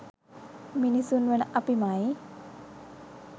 මිනිසුන් වන අපිමයි.